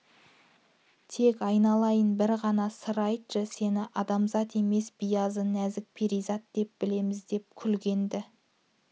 тек айналайын бір ғана сыр айтшы сені адамзат емес биязы нәзік перизат деп білеміз деп күлген-ді